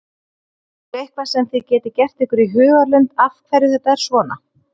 Er eitthvað sem þið getið gert ykkur í hugarlund af hverju þetta er svona?